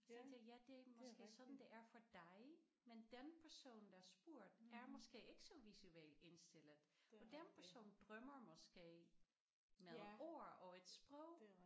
Så tænkte jeg det er måske sådan det er for dig men den person der spurgte er måske ikke så visuelt indstillet og dem som drømmer måske med ord og et sprog